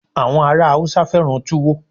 àwọn ará Hausa fẹràn tuwo